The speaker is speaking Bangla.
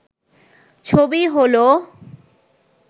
ছবি হল